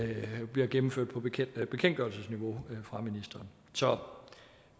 bliver gennemført på bekendtgørelsesniveau fra ministeren så